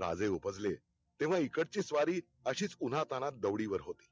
राजे उपजले तेव्हा इकडची स्वारी अशीच उन्हा ताणात दौडी वर होती